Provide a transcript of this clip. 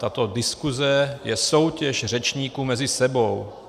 Tato diskuze je soutěž řečníků mezi sebou.